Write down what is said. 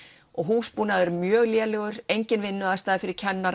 og húsbúnaður mjög lélegur engin vinnuaðstaða fyrir kennara